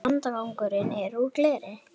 Landgangurinn er úr gleri.